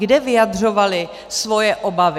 Kde vyjadřovali svoje obavy?